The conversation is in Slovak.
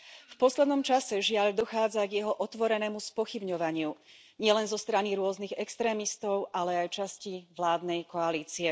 V poslednom čase, žiaľ, dochádza k jeho otvorenému spochybňovaniu nielen zo strany rôznych extrémistov, ale aj časti vládnej koalície.